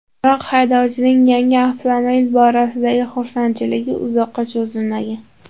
Biroq haydovchining yangi avtomobil borasidagi xursandchiligi uzoqqa cho‘zilmagan.